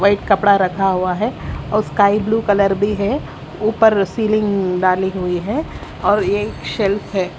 कोई कपड़ा रखा हुआ है और स्काई ब्लू कलर भी है ऊपर सीलिंग डाली हुई है और एक शेल्फ है।